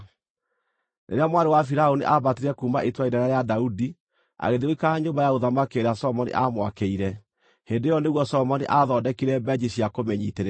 Rĩrĩa mwarĩ wa Firaũni aambatire kuuma itũũra inene rĩa Daudi agĩthiĩ gũikara nyũmba ya ũthamaki ĩrĩa Solomoni aamwakĩire, hĩndĩ ĩyo nĩguo Solomoni aathondekire mbenji cia kũmĩnyiitĩrĩra.